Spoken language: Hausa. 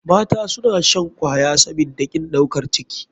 Mata suna shan kwaya sabida kin ɗaukar ciki.